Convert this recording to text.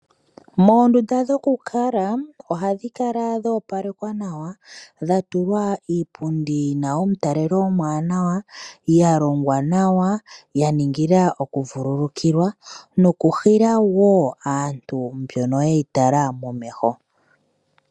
Moondunda dhokukala ohadhi kala dhoopalekwa nawa dha tulwa iipundi yi na omutalelo omuwanawa ya longwa nawa ya ningilwa okuvululukilwa nokuhila wo aantu mbono ye yi tala nomeho.